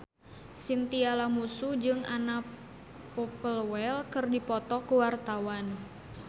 Chintya Lamusu jeung Anna Popplewell keur dipoto ku wartawan